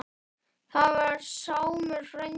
Það var Sámur frændi.